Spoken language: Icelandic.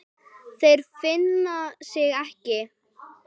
Þeir finna sig ekki.